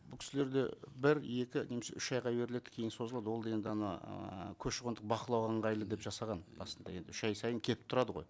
бұл кісілерде бір екі немесе үш айға беріледі кейін созылады ол дегенде ана ііі көші қондық бақылау ыңғайлы деп жасаған басында енді үш ай сайын келіп тұрады ғой